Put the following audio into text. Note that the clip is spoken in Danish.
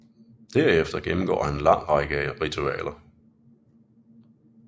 Derefter gennemgår han en lang række ritualer